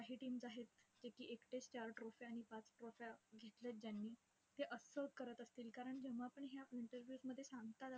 काही teams आहेत, जे की एकटेच चार trophy आणि पाच trophy घेतल्यात ज्यांनी, ते असंच करत असतील. कारण जेव्हा पण ह्या interviews मध्ये सांगतात,